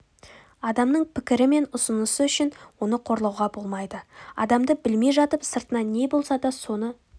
адамның пікірі мен ұсынысы үшін оны қорлауға болмайды адамды білмей жатып сыртынан не болса соны